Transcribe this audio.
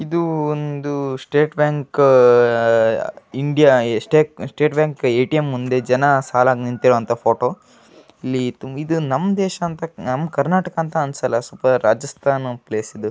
ಇದು ಒಂದು state bank India estate state bank ATM ಮುಂದೆ ಜನ ಸಾಲಾಗಿ ನಿಂತಿರುವಂತ ಫೋಟೋ ಇಲ್ಲಿ ತುಂ ನಮ್ಮ ದೇಶ ಅಂತ ನಮ್ಮ ಕರ್ನಾಟಕ ಅಂತ ಅನ್ಸಲ್ಲ ರಾಜಸ್ಥಾನ್ ಪ್ಲೇಸ್ ಇದು .